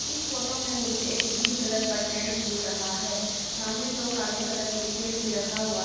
इस फोटो में मुझे एक ग्रीन कलर का टेंट दिख रहा है सामने दो काले कलर के चेयर भी रखा हुआ--